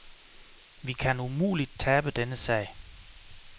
Vi kan umuligt tabe denne sag.